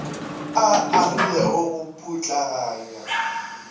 a a rilego go putlaganya